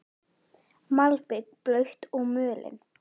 Malbik blautt og mölin.